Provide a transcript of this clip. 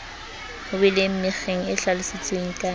weleng mekgeng e hlalositsweng ka